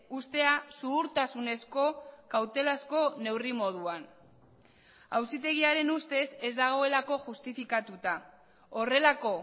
uztea zuhurtasunezko kautelazko neurri moduan auzitegiaren ustez ez dagoelako justifikatuta horrelako